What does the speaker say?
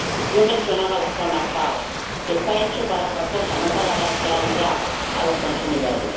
Yo mencionaba las zonas FAO están hechas para otra cosa, no para dar claridad a los consumidores